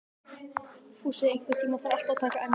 Fúsi, einhvern tímann þarf allt að taka enda.